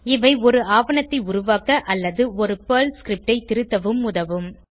இவை ஒரு ஆவணத்தை உருவாக்க அல்லது ஒரு பெர்ல் ஸ்கிரிப்ட் ஐ திருத்தவும் உதவும்